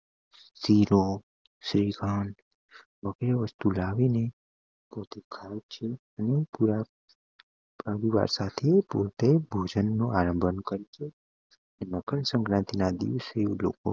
શિરો શ્રીખંડ વસ્તું લાવી ને ખાય છે ભોજન નો આયોજન કર્યું છે અને મકર સંક્રાંતિ ના દિવસે લોકો